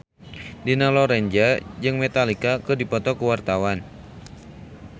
Dina Lorenza jeung Metallica keur dipoto ku wartawan